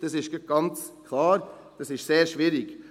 Dies ist ganz klar, es ist sehr schwierig.